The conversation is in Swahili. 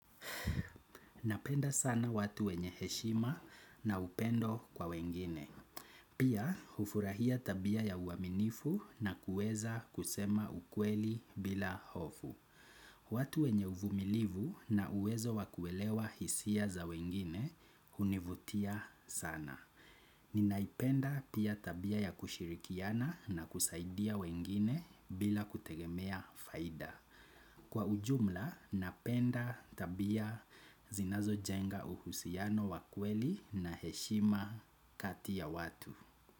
Napenda sana watu wenye heshima na upendo kwa wengine. Pia, hufurahia tabia ya uaminifu na kuweza kusema ukweli bila hofu. Watu wenye uvumilivu na uwezo wa kuelewa hisia za wengine univutia sana. Ninaipenda pia tabia ya kushirikiana na kusaidia wengine bila kutegemea faida. Kwa ujumla, napenda tabia zinazojenga uhusiano wa kweli na heshima kati ya watu.